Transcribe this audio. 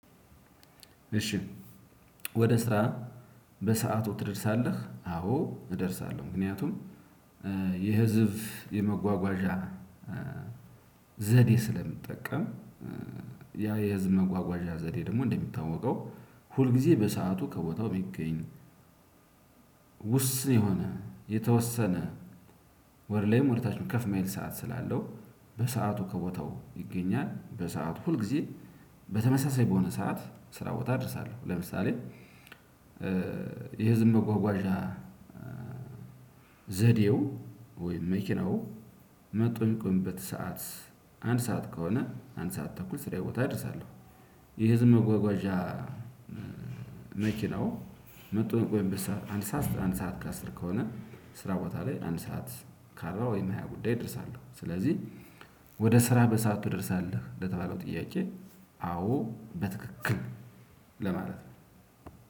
እሺ ወደ ስራ በሰአቱ ትደርሳለህ? አዎ እደርሳለሁ። ምክንያቱም የህዝብ የመጓጓዣ ዘዴ ስለምጠቀም ያ የህዝብ መጓጓዣ ዘዴ ደግሞ እንደሚታወቀው ሁል ጊዜ በሰአቱ ከቦታው የሚገኝ። ውስን የሆነ የተወሰነ ወር ላይም ወደ ታችም ከፍ እማይል ሰዓት ስላለው በሰአቱ ከቦታው ይገኛል። በሰአቱ ሁል ጊዜ በተመሳሳይ በሆነ ሰዓት ስራ ቦታ እደርሳለሁ። ለምሳሌ የህዝብ መጓጓዣ ዘዴው ወይም መኪናው መጥቶ የሚቆምበት ሰዓት አንድ ሰዓት ከሆነ አንድ ሰዓት ተኩል ስራዬ ቦታ እደርሳለሁ። የህዝብ መጓጓዣ መኪናው መጥቶ በሚቆይበት ሰዓት አንድ ሰዓት አንድ ሰዓት ከአስር ከሆነ ስራ ቦታ ላይ አንድ ሰዓት ከአርባ ወይም ሃያ ጉዳይ እደርሳለሁ። ስለዚህ ወደ ስራ በሰአቱ ትደርሳለህ? ለተባለው ጥያቄ አዎ በትክክል ለማለት ነው።